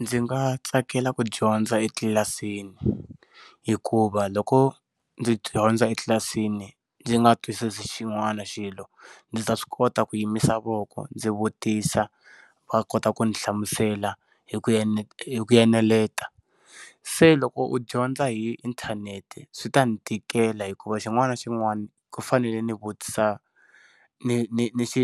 Ndzi nga tsakela ku dyondza etlilasini hikuva loko ndzi dyondza etlilasini ndzi nga twisisi xin'wani xilo ndzi ta swi kota ku yi misava loko ndzi vutisa va kota ku ndzi hlamusela hi ku ene eneleta se loko u dyondza hi inthanete swi ta ndzi tikela hikuva xin'wana na xin'wana ku fanele ndzi vutisa ndzi